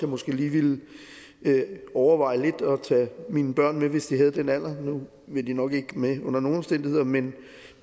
måske lige ville overveje det lidt at tage mine børn med hvis de havde den alder nu vil de nok ikke med under nogen omstændigheder men